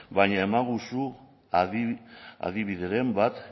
baina emaiguzu adibideren bat